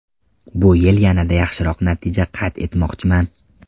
Bu yil yanada yaxshiroq natija qayd etmoqchiman.